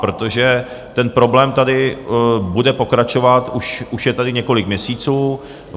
Protože ten problém tady bude pokračovat, už je tady několik měsíců.